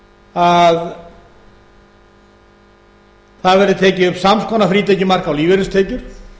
að það verði tekið upp sams konar frítekjumark á lífeyristekjur